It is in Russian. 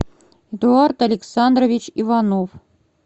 эдуард александрович иванов